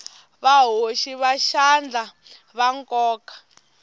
vahoxi va xandla va nkoka